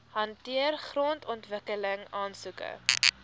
hanteer grondontwikkeling aansoeke